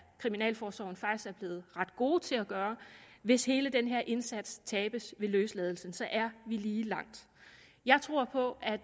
kriminalforsorgen faktisk er blevet ret gode til at gøre hvis hele den her indsats tabes ved løsladelsen så er vi lige langt jeg tror på at